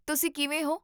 ਤੁਸੀ ਕਿਵੇਂ ਹੋ?